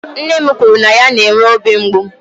Nne m kwuru na ya na-enwe obi mgbu.